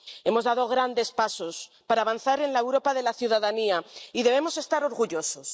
Hemos dado grandes pasos para avanzar en la Europa de la ciudadanía, y debemos estar orgullosos.